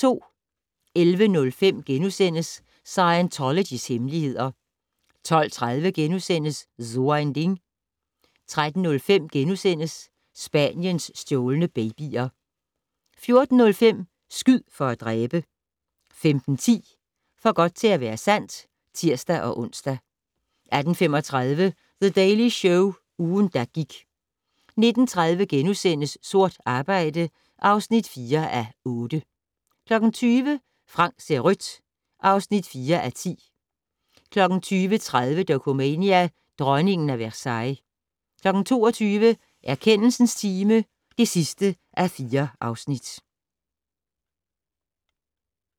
11:05: Scientologys hemmeligheder * 12:30: So ein Ding * 13:05: Spaniens stjålne babyer * 14:05: Skyd for at dræbe! 15:10: For godt til at være sandt (tir-ons) 18:35: The Daily Show - ugen, der gik 19:30: Sort arbejde (4:8)* 20:00: Frank ser rødt (4:10) 20:30: Dokumania: Dronningen af Versailles 22:00: Erkendelsens time (4:4)